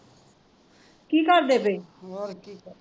ਕੀ ਕਰਦੇ ਪਏ